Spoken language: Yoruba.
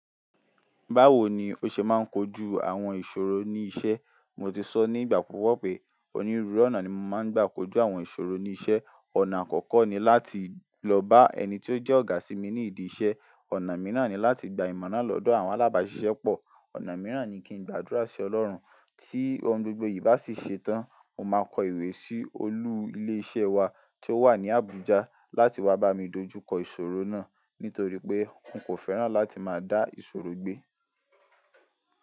Báwo ni ó ṣe máa ń kojú àwọn ìṣòro ní iṣẹ́? Mo ti sọ ní ìgbà púpọ̀ pé onírúurú ọ̀nà ni mo máa ń gbà kojú àwọn ìṣòro ní iṣẹ́. Ọ̀nà àkọ́kọ́ ni láti lọ bá ẹni tí ó jẹ́ ọ̀gá sí mi ní ìdí iṣẹ́. Ọ̀nà mìíràn ni láti gba ìmọ̀ naá lọ́dọ̀ àwọn alábàṣiṣẹ́ pọ̀. Ọ̀nà mìíràn ni kí n gbàdúrà sí Ọlọ́run. Tí ohun gbogbo yìí bá sì ṣe tán, mo máa kọ ìwé sí olú ilé iṣẹ́ wa tí ó wà ní Abuja láti wá bá mi dojú kọ ìṣòro náà. Nítorí pé n kò fẹ́ràn láti máa dá ìṣòro gbé.